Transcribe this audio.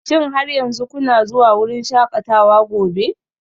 Shin har yanzu kuna zuwa wurin shakatawa gobe?